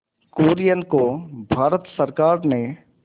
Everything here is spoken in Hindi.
कुरियन को भारत सरकार ने